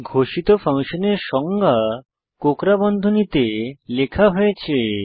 ঘোষিত ফাংশনের সংজ্ঞা কোঁকড়া বন্ধনীতে লেখা হয়েছে